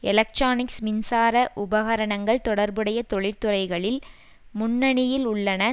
electronics மின்சார உபகரணங்கள் தொடர்புடைய தொழில்துறைகளில் முன்னணியில் உள்ளன